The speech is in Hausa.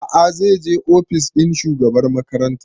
A'a zai je ofis ɗin shugabar makaranta